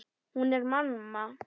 Hún er mamma.